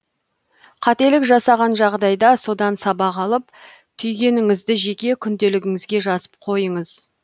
қателік жасаған жағдайда содан сабақ алып түйгеніңізді жеке күнделігіңізге жазып қойыңыз